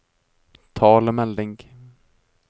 talemelding